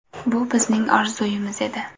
Bu bizning orzumiz edi.